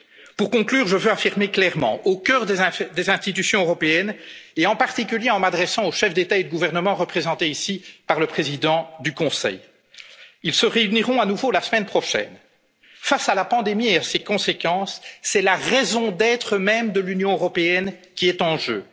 y sommes prêts. Pour conclure, je veux affirmer clairement ceci, au cœur des institutions européennes et en particulier en m'adressant aux chefs d'État et de gouvernement représentés ici par le président du Conseil, et qui se réuniront à nouveau la semaine prochaine face à la pandémie et à ses conséquences, c'est la raison d'être même de l'Union européenne